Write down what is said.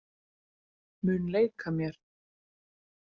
Mun leika mér.